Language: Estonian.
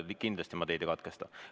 Kindlasti ma teid ei katkesta.